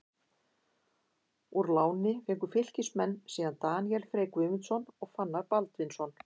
Úr láni fengu Fylkismenn síðan Daníel Frey Guðmundsson og Fannar Baldvinsson.